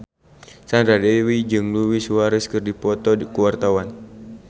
Sandra Dewi jeung Luis Suarez keur dipoto ku wartawan